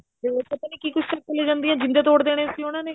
ਹੋਰ ਤਾਂ ਪਤਾ ਨੀ ਕੀ ਕੁੱਛ ਚੱਕ ਕੇ ਲਈ ਜਾਂਦੇ ਜਿੰਦੇ ਤੋੜ ਦੇਣੇ ਸੀ ਉਹਨਾ ਨੇ